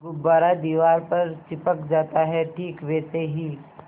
गुब्बारा दीवार पर चिपक जाता है ठीक वैसे ही